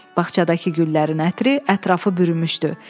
Bağçadakı güllərin ətri ətrafı bürümüşdü.